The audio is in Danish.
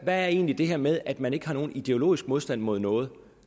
der egentlig med at man ikke har en ideologisk modstand mod noget